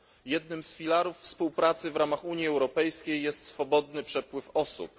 Jednym z filarów współpracy w ramach Unii Europejskiej jest swobodny przepływ osób.